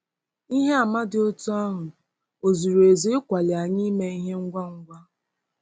Ihe àmà dị otú ahụ ò zuru ezu ịkwali anyị ime ihe ngwa ngwa?